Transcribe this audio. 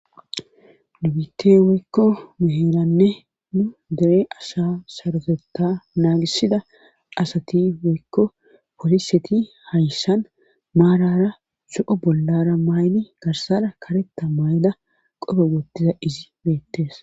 dubite woykko meheeranne nu dere asha sarotetta naagisida asati woykko poliseti hayssan maarara so7o bollara mayni garsara kareta may7da qobe wottiza izi beettes